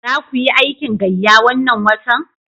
Za ku yi aikin gayya wannan watan?